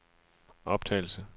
optagelse